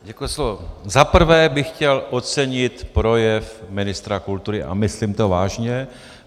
Za prvé bych chtěl ocenit projev ministra kultury a myslím to vážně.